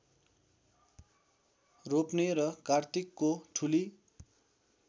रोप्ने र कार्तिकको ठुली